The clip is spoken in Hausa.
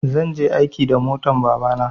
zan je aiki da motan babana